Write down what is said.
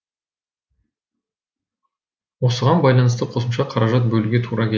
осыған байланысты қосымша қаражат бөлуге тура кел